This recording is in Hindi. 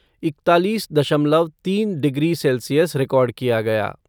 इकतालीस दशमलव तीन डिग्री सेल्सियस रिकॉर्ड किया गया।